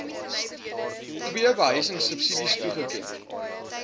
ii behuisingsubsidies toegeken